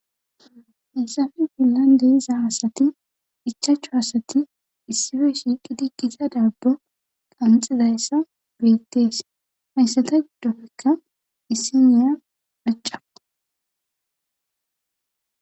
heyssafe fillandeiza asati ichachu asati issife shiiqidi qiza dabbo qanxizayssa bettees hayssata giddofekka issi niya maca